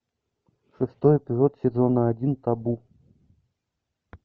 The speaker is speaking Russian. шестой эпизод сезона один табу